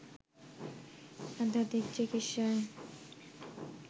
আধ্যাত্মিক চিকিৎসায়